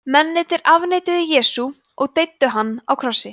mennirnir afneituðu jesú og deyddu hann á krossi